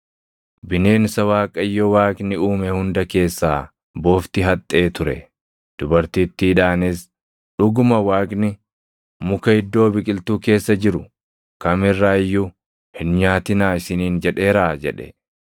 Bineensa Waaqayyo Waaqni uume hunda keessaa bofti haxxee ture. Dubartittiidhaanis, “Dhuguma Waaqni, ‘Muka iddoo biqiltuu keessa jiru kam irraa iyyuu hin nyaatinaa’ isiniin jedheeraa?” jedhe.